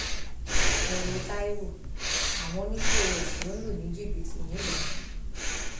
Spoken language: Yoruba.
ẹ wo taiwo àwọn ọnì pọs ló ń lù ní jìbìtì nìlọrin